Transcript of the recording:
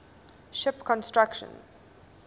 ship construction